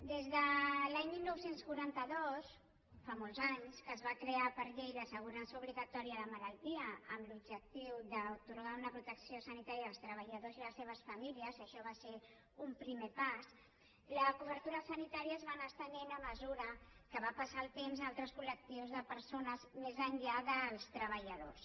des de l’any dinou quaranta dos fa molts anys que es va crear per llei l’assegurança obligatòria de malaltia amb l’objectiu d’atorgar una protecció sanitària als treballadors i les seves famílies això va ser un primer pas la cobertura sanitària es va anar estenent a mesura que va passar el temps a altres col·lectius de persones més enllà dels treballadors